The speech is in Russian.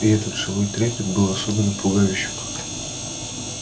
и этот живой трепет был особенно пугающим